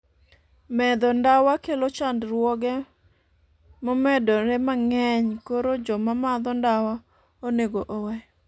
madho ndawa kelo chandruoge momedore mang'eny koro joma madho ndawa onego owe